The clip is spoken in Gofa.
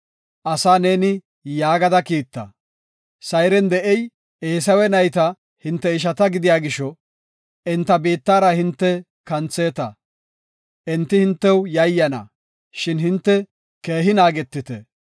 Asaa neeni yaagada kiitta; ‘Sayren de7ey Eesawe nayta hinte ishata gidiya gisho enta biittara hinte kantheeta. Enti hintew yayyana, shin hinte keehi naagetite.